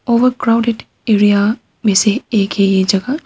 Over crowded area में से एक है ये जगह।